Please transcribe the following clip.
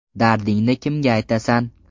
Dardingni kimga aytasan?